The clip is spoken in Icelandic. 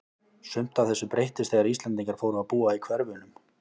Sumt af þessu breyttist þegar Íslendingar fóru að búa í hverfunum.